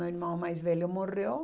Meu irmão mais velho morreu.